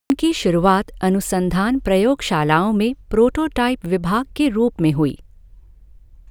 उनकी शुरूआत अनुसंधान प्रयोगशालाओं में प्रोटोटाईप विभाग के रूप में हुई।